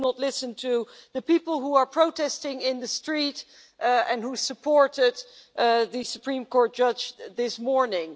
You do not listen to the people who are protesting in the street and who supported the Polish Supreme Court judge this morning.